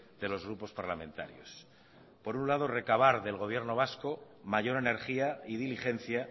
de los grupos parlamentarios por un lado recabar del gobierno vasco mayor energía y diligencia